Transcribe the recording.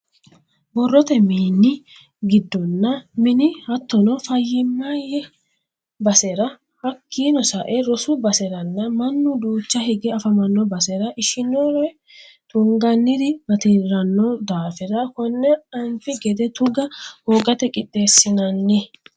Borrote mini giddonna mine hattono fayyimaye basera hakkino sae rosu baseranna mannu duucha higge affamano basera ishinori tunganniri batirano daafira kone anfi gede tuga hoogate qixeesinanni.